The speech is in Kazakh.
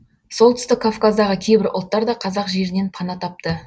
солтүстік кавказдағы кейбір ұлттар да қазақ жерінен пана тапты